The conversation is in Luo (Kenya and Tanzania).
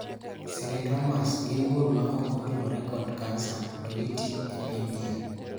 Cylindromas gin bur maok otudore kod kansa to giti e pien del.